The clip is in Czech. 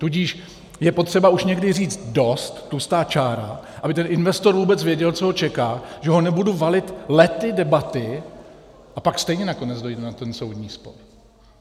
Tudíž je potřeba už někdy říct dost, tlustá čára, aby ten investor vůbec věděl, co ho čeká, že ho nebudu valit lety debaty, a pak stejně nakonec dojde na ten soudní spor.